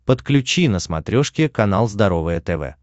подключи на смотрешке канал здоровое тв